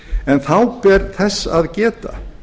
en þá ber þess að geta